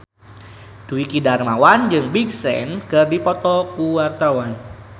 Dwiki Darmawan jeung Big Sean keur dipoto ku wartawan